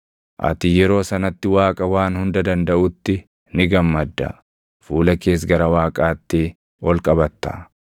Ati yeroo sanatti Waaqa Waan Hunda Dandaʼutti ni gammadda; fuula kees gara Waaqaatti ol qabatta.